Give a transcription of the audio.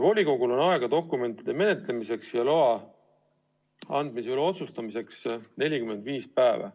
Volikogul on aega dokumentide menetlemiseks ja loa andmise üle otsustamiseks 45 päeva.